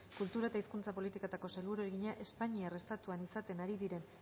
kultura eta hizkuntza politikako sailburuari egina espainiar estatuan izaten ari diren